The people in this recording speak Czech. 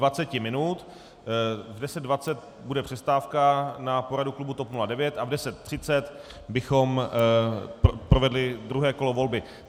V 10.20 bude přestávka na poradu klubu TOP 09 a v 10.30 bychom provedli druhé kolo volby.